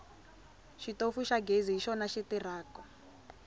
xitofu xa ghezi hi xona xi tirhako